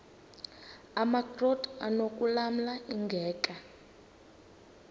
amakrot anokulamla ingeka